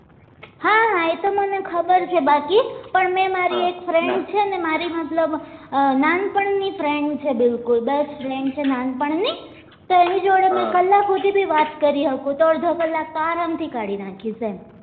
મને ખબર છે બાકી પણ મેં મારી એક friend છે ને મારી મતલબ નાનપણ ની friend છે બિલકુલ best friend છે નાનપણ ની તો એની જોડે મેં કલાક હુધી બી વાત કરી હકુ તો અડધો કલાક તો આરામ થી કાઢી નાખીશું એમ